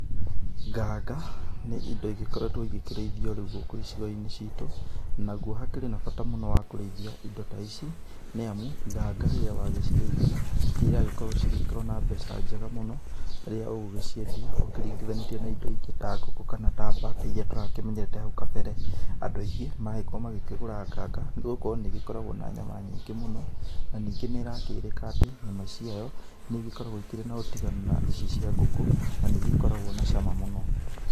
Nganga nĩ indo igĩkoretwo igĩkĩrĩithio rĩu gũkũ icigo-inĩ citu, naguo hakĩrĩ na bata mũno wa kũrĩithia indo ta ici. Nĩ amu nganga rĩrĩa wagĩcirĩithia ciragĩkorwo cigĩkorwo na mbeca njega mũno rĩria ũgũgĩciendia ũkĩringithanĩtie na indo ingĩ ta ngũkũ kana ta mbata iria tũrakimenyete hau kabere. Andũ aingĩ marakorwo magĩkĩgũra nganga nĩ gũkorwo nĩ ĩrakorwo na nyama nyingĩ mũno, na ningĩ nĩ ĩrakĩrĩka atĩ nyama ici ciayo nĩ igĩkoragwo ikĩrĩ na ũtiganu na ici cia ngũkũ na nĩ igĩkoragwo na cama mũno.